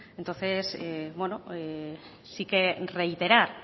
entonces bueno sí que reiterar